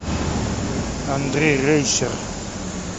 андрей рейсер